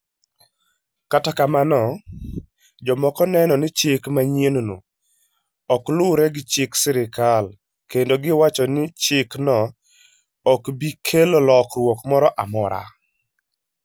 Kata kamano, jomoko neno ni chik manyienno ok luwre gi chik sirkal, kendo giwacho ni chikno ok bi kelo lokruok moro amora.